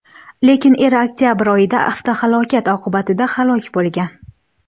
Lekin eri oktabr oyida avtohalokat oqibatida halok bo‘lgan.